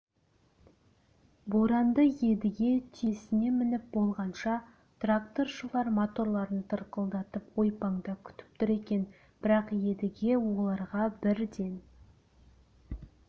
боранды едіге түйесіне мініп болғанша тракторшылар моторларын тырқылдатып ойпаңда күтіп тұр екен бірақ едіге оларға бірден